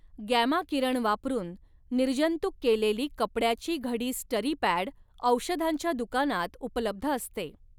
Gamma किरण वापरून निर्जंतुक केलेली कपडयाची घडी स्टरीपॅड औषधांच्या दुकानात उपलब्ध असते.